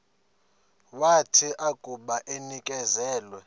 wathi akuba enikezelwe